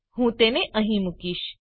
હું તેને અહીં મુકીશ